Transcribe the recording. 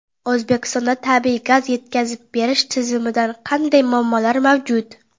O‘zbekistonda tabiiy gaz yetkazib berish tizimida qanday muammolar mavjud?.